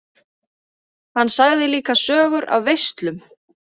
Hann sagði líka sögur af veislum.